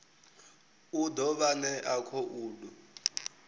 u ḓo vha ṋea khoudu